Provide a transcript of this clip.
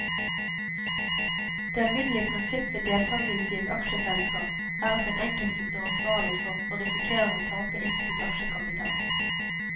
Det alminnelige prinsipp ved deltagelse i et aksjeselskap, er at den enkelte står ansvarlig for og risikerer å tape innskutt aksjekapital.